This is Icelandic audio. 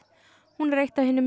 hún er eitt af hinum